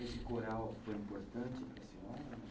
Esse coral foi importante para a senhora?